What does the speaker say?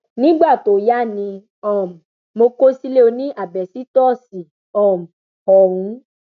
nígbà tó yá ni um mo kọ sílẹ ọnì àbẹsítọọsì um ọhún